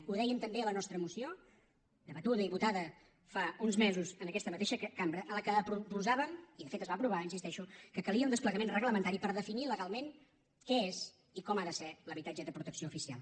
ho dèiem també a la nostra moció debatuda i votada fa uns mesos en aquesta mateixa cambra en què proposàvem i de fet es va aprovar hi insisteixo que calia un desplegament reglamentari per definir legalment què és i com ha de ser l’habitatge de protecció oficial